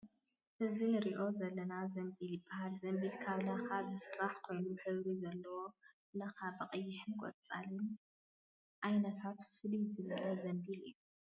እዚ ንሪኦ ዘለና ዘምቢል ይበሃል ዘምቢል ካብ ላካ ዝስራሕ ኮይኑ ሕብሪ ዘለዎ ላካ ብቀይሕን ቆፃልን ምዓይነት ፍልይ ዘበለ ዘምቢል እዩ ።